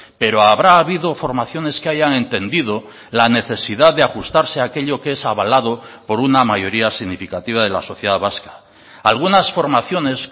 pero habrá habido formaciones que hayan entendido la necesidad de ajustarse a aquello que es abalado por una mayoría significativa de la sociedad vasca algunas formaciones